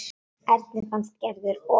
Erni fannst Gerður of köld.